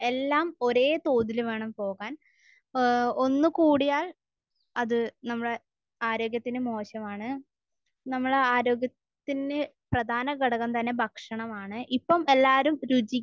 എല്ലാം ഒരേ തോതിൽ വേണം പോകാൻ. ഏഹ് ഒന്ന് കൂടിയാൽ അത് നമ്മുടെ ആരോഗ്യത്തിന് മോശമാണ്. നമ്മുടെ ആരോഗ്യത്തിന് പ്രധാന ഘടകം തന്നെ ഭക്ഷണമാണ്. ഇപ്പോൾ എല്ലാവരും രുചി